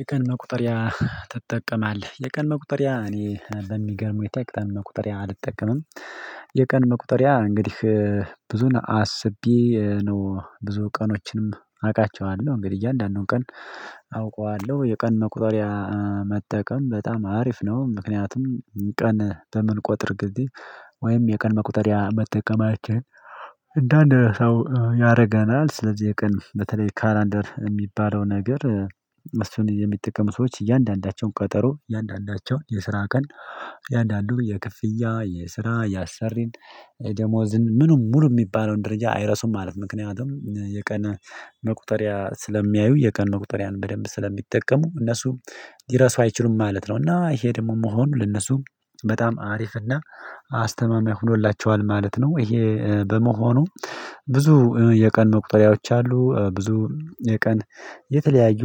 የቀን መቁጠሪያ ትጠቀማለህ የቀን መቁጠሪያ እኔ በሚገርመው ሁኔታ የቀን መቁጠሪያ አልጠቀምም። የቀን መቁጠሪያ እንግዲህ ብዙን አስቤ ነው ብዙ ቀኖችንም አውቃቸዋለሁ እንግዲህ እያንዳንዱን ቀን አውቀዋለሁ የቀን መቁጠሪያ መጠቀም በጣም አሪፍ ነው። ምክንያቱም ቀን በምንቆጥር ጊዜ ወይም የቀን መቁጠሪያ መጠቀማችን እንደአንድ ሰው ያደርገናል። ስለዚህ የቀን በተለይ ካላንደር የሚባለው ነገር እሱን የሚጠቀሙ ሰዎች እያንዳንዳቸውን ቀጠሮ እያንዳንዳቸውን የስራ ቀን እያንዳንዱን የክፍያ የስራ ያአሰርን ደሞዝን ምንም ሙሉ የሚባለውን ደረጃ አይረሱም። ማለት ምክንያቱም የቀነ መቁጠሪያ ስለሚያዩ የቀን ቁጥርያን በደንብ ስለሚጠቀሙ እነሱ ሊረሱ አይችሉም ማለት ነው። እና ይሄ ደግሞ መሆኑ ለነሱ በጣም አሪፍና አስተማሚማኛ ሆኖላቸዋል ማለት ነው። ይሄ በመሆኑ ብዙ የቀን መቁጠሪያዎች አሉ ብዙ የቀን የተለያዩ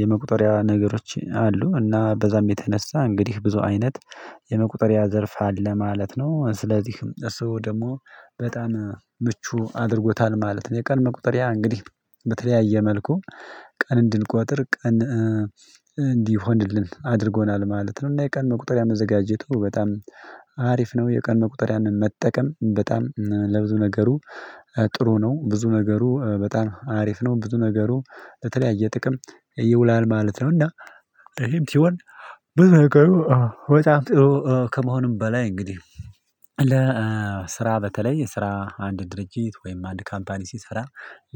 የመቁጠሪያ ነገሮች አሉ። እና በዛም የተነሳ እንግዲህ ብዙ አይነት የመቁጠሪያ ዘርፍ አለ ማለት ነው። ስለዚህም እሱ ደግሞ በጣም ምቹ አድርጎታል ማለት ነው። የቀን መቁጠሪያ እንግዲህ በተለያየ መልኩ ቀን እንድንቆጥር ቀን እንዲሆንልን አድርጎናል ማለት ነው። እና የቀን መቁጠሪያ መዘጋጀቱ በጣም አሪፍ ነው። የቀን መቁጠሪያን መጠቀም በጣም ለብዙ ነገሩ ጥሩ ነው። ብዙ ነገሩ በጣም አሪፍ ነው ብዙ ነገሩ በተለያየ ጥቅም ይውላል ማለት ነው። እና ይሄም ስሆን በጣም ጥሩ ከመሆንም በላይ እንግዲህ ለስራ በተለይ የስራ አንድ ድርጅት ወይም አንድ ካምፓኒ ሲሰራ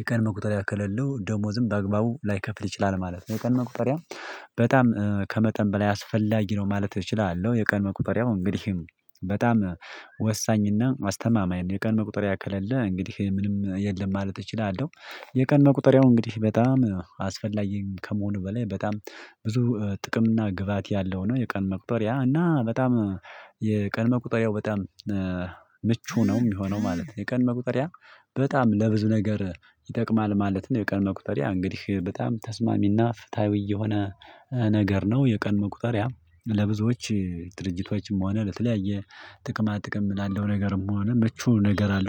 የቀን መቁጠርያ ከሌለው ደሞዝም በአግባቡ ላይከፍል ይችላል ማለት ነው። የቀን መቁጠሪያ በጣም ከመጠን በላይ አስፈላጊ ነው ማለት እችላለሁ። የቀን መቁጠሪያ እንግዲህ በጣም ወሳኝና አስተማማኝ ነው የቀን መቁጠሪያ ከሌለ እንግዲህ ምንም የለም ማለት እችላለሁ። የቀን መቁጠሪያው እንግዲህ በጣም አስፈላጊ ከመሆኑ በላይ በጣም ብዙ ጥቅም እና ግባት ያለው ነው። የቀን መቁጠሪያ እና በጣም የቀን መቁጠሪያው በጣም ምቹ ነው የሚሆነው ማለት ነው። የቀን መቁጠሪያ በጣም ለብዙ ነገር ይጠቅማል ማለት ነው። የቀን መቁጠሪያ እንግዲህ በጣም ተስማሚና ፍትሃዊ የሆነ ነገር ነው። የቀን መቁጠሪያ ለብዙዎች ድርጅቶችም ሆነ ለተለያየ ጥቅማ ጥቅም ላለው ነገርም ሆነ ምቹ ነገር አለው